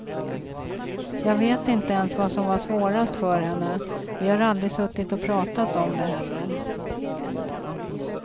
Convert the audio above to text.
Jag vet inte ens vad som var svårast för henne, vi har aldrig suttit och pratat om det heller.